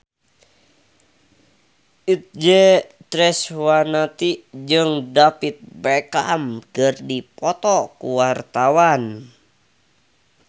Itje Tresnawati jeung David Beckham keur dipoto ku wartawan